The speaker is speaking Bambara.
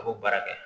A b'o baara kɛ